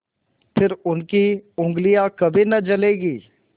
फिर उनकी उँगलियाँ कभी न जलेंगी